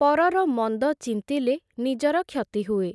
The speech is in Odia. ପରର ମନ୍ଦ ଚିନ୍ତିଲେ, ନିଜର କ୍ଷତି ହୁଏ ।